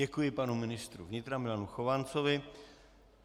Děkuji panu ministrovi vnitra Milanu Chovancovi.